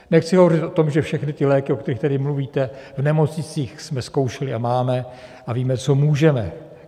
Nechci hovořit o tom, že všechny ty léky, o kterých tady mluvíte, v nemocnicích jsme zkoušeli a máme a víme, co můžeme.